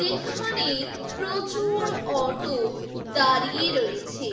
এখানে প্রচুর অটো দাঁড়িয়ে রয়েছে।